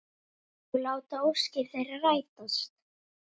Og láta óskir þeirra rætast.